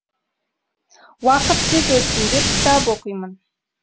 уақыт тез өтсін деп кітап оқимын